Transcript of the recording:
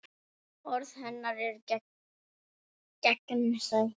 Orð hennar eru gegnsæ.